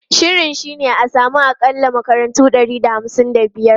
Shirin shi ne a samu akalla makarantu ɗari da hamsin da biyar.